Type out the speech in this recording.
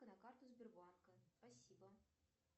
на карту сбербанка спасибо